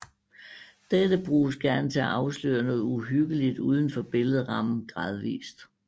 Dette bruges gerne til at afsløre noget uhyggeligt uden for billedrammen gradvist